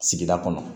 Sigida kɔnɔ